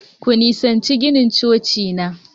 Ku nisanci ginin Coci na!